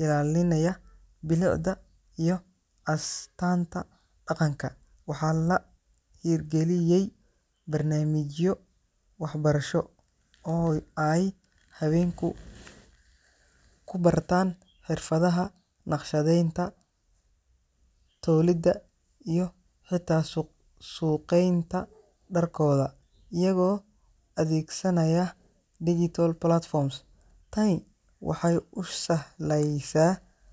ilaalinaya bilicda iyo astaanta dhaqanka. Waxaa la hirgeliyey barnaamijyo waxbarasho oo ay haweenku ku bartaan xirfadaha naqshadeynta, tolidda iyo xitaa suuqgeynta dharkooda iyagoo adeegsanaya digital platforms. Tani waxay u sahlaysaa .